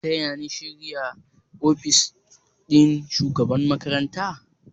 Za ku taya ni share ofis ɗin shugaban makaranta?